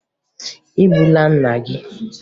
E gbula nna gị!